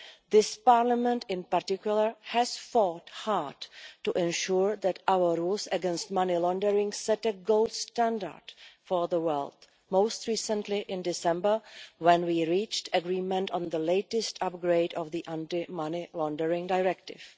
This Parliament, in particular, has fought hard to ensure that our rules against money laundering set a gold standard for the world, most recently in December when we reached agreement on the latest upgrade of the Anti Money Laundering Directive.